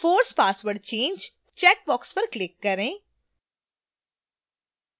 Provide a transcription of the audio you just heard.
force password change checkbox पर click करें